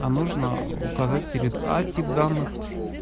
а нужно указать перед а тип данных